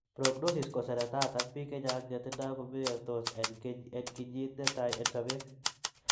Prognosis koseretat ak biik chechaang' chetindo komeystos en kinyit ne tai en sobet.